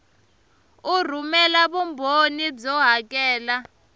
u rhumela vumbhoni byo hakela